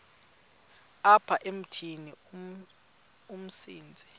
apha emithini umsintsi